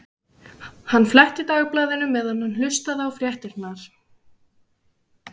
Hann fletti Dagblaðinu meðan hann hlustaði á fréttirnar.